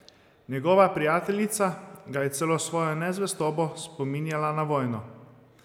Njegova prijateljica ga je celo s svojo nezvestobo spominjala na vojno.